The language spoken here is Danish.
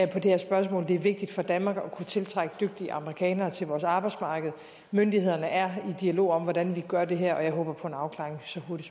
det her spørgsmål det er vigtigt for danmark at kunne tiltrække dygtige amerikanere til vores arbejdsmarked myndighederne er i dialog om hvordan vi gør det her og jeg håber på en afklaring